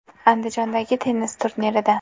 Andijondagi tennis turnirida.